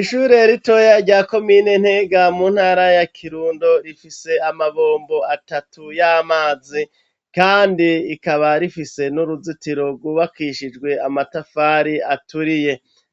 Ishure ritoya rya komine Ntega, mu ntara ya kirundo, rifise Amabombo atatu y'Amazi, kandi ikaba rifise n'uruzitiro rwubakishijwe Amatafari aturiye,